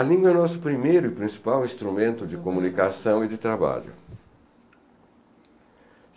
A língua é o nosso primeiro e principal instrumento de comunicação e de trabalho.